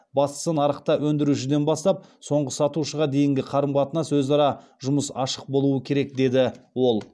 бастысы нарықта өндірушіден бастап соңғы сатушыға дейінгі қарым қатынас өзара жұмыс ашық болуы керек деді ол